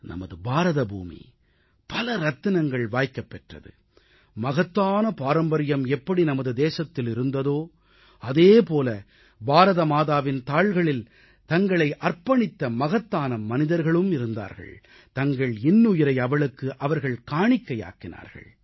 நமது பாரத பூமி பல ரத்தினங்கள் வாய்க்கப் பெற்றது இறைவனின் காலடியில் தங்களைக் காணிக்கையாக்கிய மகான்களின் மகத்தான பாரம்பரியம் எப்படி நமது தேசத்தில் இருந்ததோ அதேபோல பாரத மாதாவின் தாள்களில் தங்களை அர்ப்பணித்த மகத்தான மனிதர்களும் இருந்தார்கள் தங்கள் இன்னுயிரை அவளுக்கு அவர்கள் காணிக்கையாக்கினார்கள்